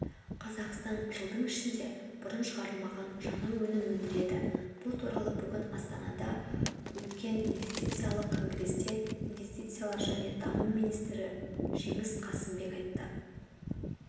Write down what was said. қазақстан жылдың ішінде бұрын шығарылмаған жаңа өнім өндіреді бұл туралы бүгін астанада өткенинвестициялық конгресте инвестициялар және даму министрі жеңіс қасымбек айтты